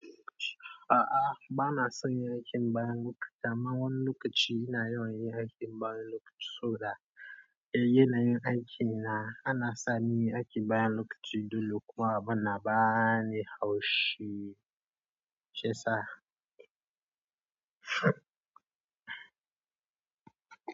A'a ba na son yin aikin bayan lokaci amma wannan lokaci ina yawan yin aikin bayan lokaci saboda. Eh, yanayin aiki na, ana sani aiki bayan lokaci dole kuwa bana ba ni haushi. Shiyasa.